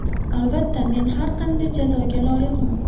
Albatta, men har qanday jazoga loyiqman.